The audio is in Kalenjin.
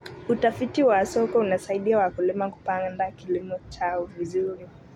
Utafiti wa soko unasaidia wakulima kupanga kilimo chao vizuri.